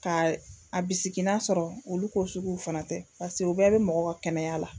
Ka a bisigi n'a sɔrɔ olu ko suguw fana tɛ paseke o bɛɛ be mɔgɔ ka kɛnɛya la